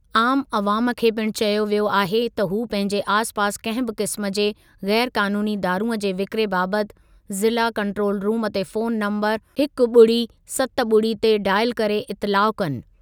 आमु अवाम खे पिणु चयो वियो आहे त हू पंहिंजे आसि पासि कंहिं बि क़िस्म जे ग़ैर क़ानूनी दारूंअ जे विकिरे बाबति ज़िला कंट्रोल रुम ते फोन नंबरु हिकु ॿुड़ी सत ॿुड़ी ते डायल करे इतिलाउ कनि।